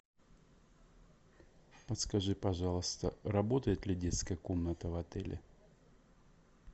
подскажи пожалуйста работает ли детская комната в отеле